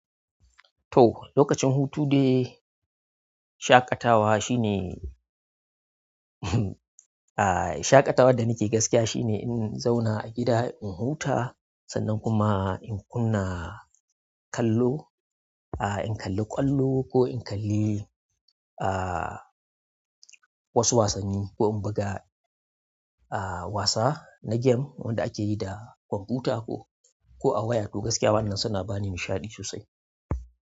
To, lokacin hutu dai shaƙatawa shine ah shaƙatawa da nake gaskiya shine in zauna a gida in huta sannan kuma in kunna kallo. A in kalli ƙwallo ko in kalli ah wasu wasanni ko in buga ah wasa na game wanda ake yi da kwamfuta ko, ko a waya. To gaskiya wannan suna bani nishaɗi sosai.